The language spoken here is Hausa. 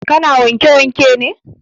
Ka na wanke wanke ne?